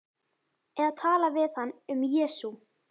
Eða tala við hann um Jesú.